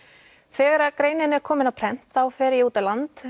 þegar að greinin er komin á prent þá fer ég út á land